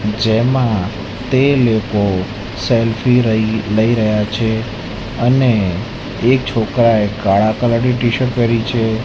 જેમાં તે લોકો સેલ્ફી રઇ લઈ રહ્યા છે અને એક છોકરાએ કાળા કલર ની ટી-શર્ટ પહેરી છે.